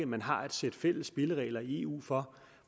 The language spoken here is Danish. man har et sæt fælles spilleregler i eu for